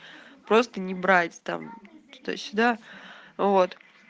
просто не брать там туда-сюда вот